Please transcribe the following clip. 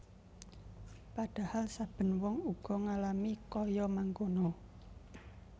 Padhahal saben wong uga ngalami kaya mangkono